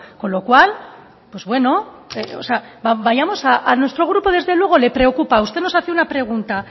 con lo cual pues bueno vayamos a nuestro grupo desde luego le preocupa usted nos hace una pregunta